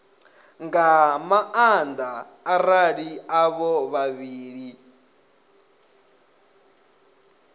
nga maanda arali avho vhavhili